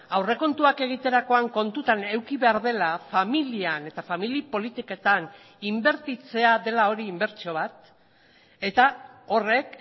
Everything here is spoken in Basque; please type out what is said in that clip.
aurrekontuak egiterakoan kontutan eduki behar dela familian eta familia politiketan inbertitzea dela hori inbertsio bat eta horrek